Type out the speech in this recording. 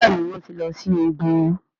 Béèni wón tí ló sì ògún.